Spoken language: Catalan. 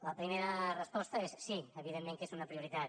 la primera resposta és sí evidentment que és una prioritat